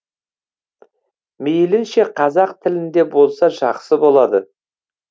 мейілінше қазақ тілінде болса жақсы болады